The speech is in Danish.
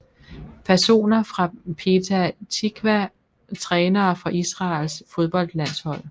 Personer fra Petah Tiqwa Trænere for Israels fodboldlandshold